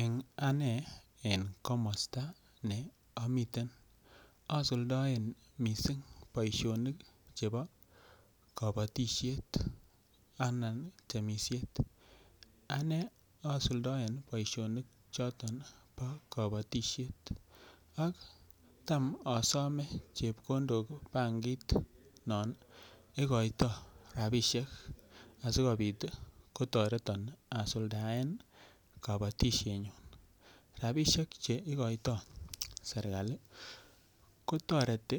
Eng ane eng komosta ne amiten asuldoen mising boishonik chebo kobotishet anan temisiet anen asuldaen boishonik choton po kobotishet ak tam asome chepkondok bankit non ikoitoi rapishek asikopit kotoreton asuldaen kobotishet nyun ropisiek cheikoiytoi serikali kotoreti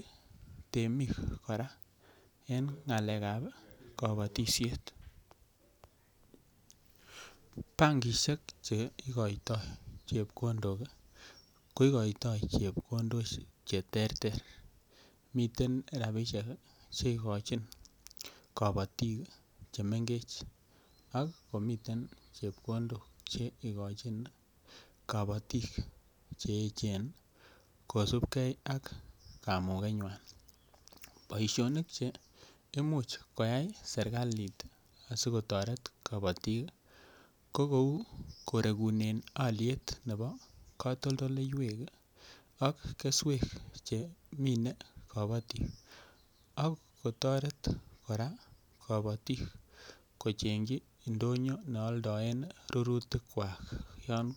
temiik kora eng ng'alek ap kobotishet bankishek cheikoiytoi chepkondok ko ikoitoi chepkondok che ter ter miten rapishe che ikochin kobotik chemengech ak komiten chepkondok che ikochin kobotik cheechen kosupkei ak kamuket nywan boishonik che imuch koyai serikalit asiketoret kobotik ko kou korekunen aliet nebo katoltoleiwek ak keswek chemine kobotik ak kotoret kora kobotik kochengchi ndonyo nealdaen rututik kwach